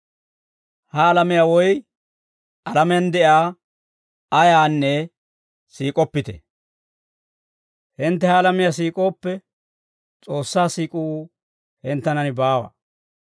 Ha alamiyaa woy alamiyaan de'iyaa ayaanne siik'oppite. Hintte ha alamiyaa siik'ooppe, S'oossaa siik'uu hinttenan baawa.